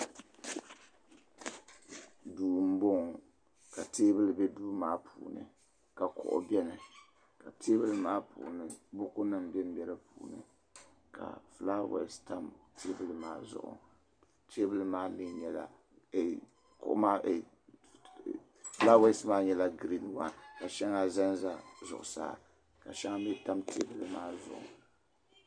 Duu m bɔŋɔ ka tɛbuli bɛ duu maa puuni ka kuɣu bɛni ka tɛbuli maa puuni buku nim bembɛ di puuni ka fulawɛse tam tɛbuli maa zuɣu fulawɛse nyɛla gren wan ka shɛŋa zanza zuɣu saa shɛŋa mii tam tɛbuli maa zuɣu.